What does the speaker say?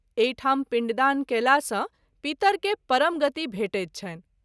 एहि ठाम पिण्डदान कएला सँ पितर के परम गति भेटैत छनि।